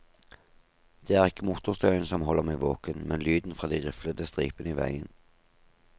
Det er ikke motorstøyen som holder meg våken, men lyden fra de riflede stripene i veien.